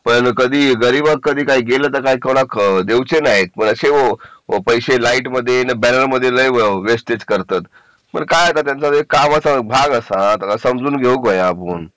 पण कधी गरीबाग कधी काही देऊच नाही तसे पैसे लाईट मध्ये मी बॅनर मध्ये लई वेस्टेज करतात पण काय आता ते त्यांच्या कामाचा भाग असा त्यांना समजून घेऊ ग्यो आपण